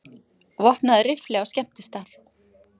Vopnaður riffli á skemmtistað